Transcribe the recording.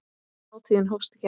Hátíðin hófst í gær.